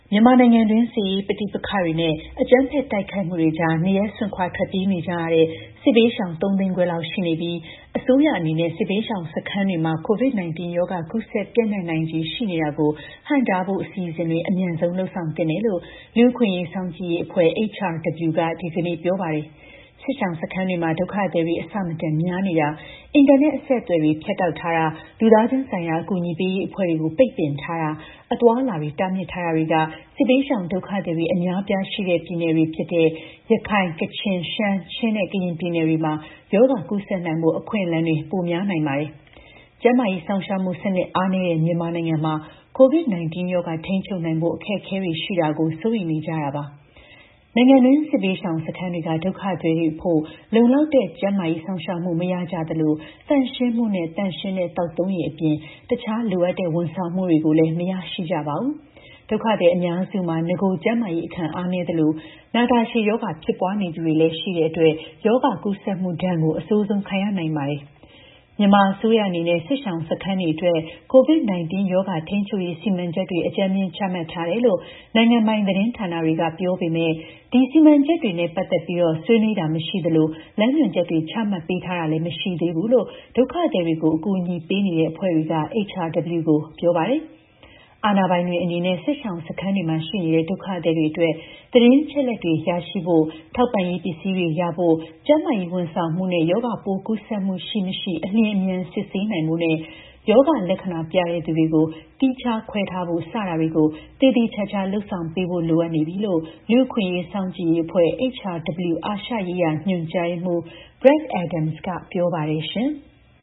မြန်မာနိုင်ငံတွင်း စစ်ရေး ပဋိပကတွေ နဲ့ အကြမ်းဖက်တိုက်ခိုက်မှုတွေကြား နေရပ်စွန့်ခွါထွက်ပြေးနေကြရတဲ့ စစ်ဘေးရှောင် ၃၅၀,၀၀၀ လောက်ရှိနေပြီး အစိုးရအနေနဲ့ စစ်ဘေးရှောင်စခန်းတွေမှာ COVID-19 ရောဂါ ကူးစက် ပျံ့နှံ့နိုင်ခြေရှိတာကို ဟန့်တားဖို့ အစီအစဉ်တွေ အမြန်ဆုံးလုပ်ဆောင်သင့်တယ်လို့ လူ့အခွင့်အရေးစောင့်ကြည့်ရေး အဖွဲ့ HRW က ဒီကနေ့ ပြောပါတယ်။ စစ်ရှောင်စခန်းတွေမှာ ဒုက္ခသည်တွေ အဆမတန်များနေတာ၊ အင်တာနက် အဆက်အသွယ်တွေ ဖြတ်တောက်ထားတာ၊ လူသားချင်းဆိုင်ရာ အကူအညီပေးရေး အဖွဲ့တွေကို ပိတ်ပင်ထားတာ၊ အသွားအလာတွေတားမြစ်ထားတာတွေက စစ်ဘေးရှောင် ဒုက္ခသည်တွေ အများအပြားရှိတဲ့ ပြည်နယ်တွေဖြစ်တဲ့ ရခိုင်၊ ကချင်၊ရှမ်း၊ ချင်းနဲ့ ကရင် ပြည်နယ်တွေမှာ ရောဂါကူးစက်နိုင်ဖို့ အခွင့်အလမ်းပိုများ နိုင်ပါတယ်။ ကျန်းမာရေး စောင့်ရှောက်မှု စနစ်အားနည်းတဲ့ မြန်မာနိုင်ငံမှာ COVID-19 ရောဂါ ထိန်းချုပ်နိုင်ဖို့ အခက်အခဲတွေရှိတာကို စိုးရိမ်နေကြတာပါ။ နိုင်ငံတွင်း စစ်ဘေးရှောင်စခန်းတွေက ဒုကသည်တွေအဖို့ လုံလောက်တဲ့ ကျန်းမာရေးစောင့်ရှောက်မှု မရရှိကြသလို၊ သန့်ရှင်းမှုနဲ့ သန့်ရှင်းတဲ့ သောက်သုံးရေ အပြင်တခြား လိုအပ်တဲ့ ဝန်ဆောင်မှုတွေကိုလည်း မရရှိကြပါဘူး။ ဒုက္ခသည် အများစုမှာ နဂိုကျန်းမာရေး အခံအားနည်းသလို နာတာရှည်ရောဂါဖြစ်ပွါးနေသူတွေလည်း ရှိတဲ့အတွက် ရောဂါကူးစက်မှုဒဏ်ကို အဆိုးဆုံးခံရနိုင်ပါတယ်။ မြန်မာအစိုးရအနေနဲ့ စစ်ရှောင်စခန်းတွေအတွက် COVID-19 ရောဂါထိန်းချုပ်ရေး စီမံချက်တွေ အကြမ်းမျဉ်း ချမှတ်ထားတယ်လို့ နိုင်ငံပိုင်သတင်းဌာနတွေက ပြောပေမဲ့ ဒီ စီမံချက်တွေနဲ့ ပတ်သက်ပြီး ဆွေးနွေးတာ မရှိသလို လမ်းညွှန်ချက်တွေ ချမှတ်ပေးတာလည်း မရှိသေးဘူးလို့ ဒုက္ခသည်တွေကို အကူအညီပေးနေတဲ့အဖွဲ့တွေက HRW ကို ပြောပါတယ်။ အာဏာပိုင်တွေအနေနဲ့ စစ်ရှောင်စခန်းတွေမှာ ရှိနေကြတဲ့ ဒုက္ခသည်တွေအတွက် သတင်းအချက်အလက်တွေ ရရှိဖို့၊ ထောက်ပံ့ရေး ပစည်းတွေရဖို့၊ ကျန်းမာရေး ဝန်ဆောင်မှုနဲ့ ရောဂါပိုးကူးစက်မှုရှိ၊ မရှိ အလျင်အမြန်စစ်ဆေးနိုင်ဖို့နဲ့ ရောဂါလက္ခဏာပြတဲ့ သူတွေကို သီးခြားခွဲထားဖို့ စတာတွေကို သေသေချာချာ လုပ်ဆောင်ပေးဖို့လိုအပ်နေပြီလို့ လူ့အခွင့်အရေးစောင့်ကြည့်ရေး အဖွဲ့ HRW အာရှရေးရာ ညွှန်ကြားရေးမှူး Brad Adams က ပြောပါတယ်ရှင်။